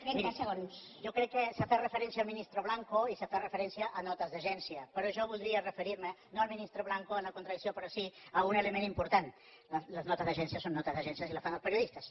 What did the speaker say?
miri jo crec que s’ha fet referència al ministre blanco i s’ha fet referència a notes d’agència però jo voldria referir me no al ministre blanco en la contradicció però sí a un element important les notes d’agència són notes d’agència i les fan els periodistes